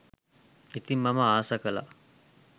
ඉතිං මම ආස කළා